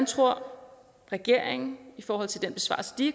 tror regeringen i forhold til den besvarelse de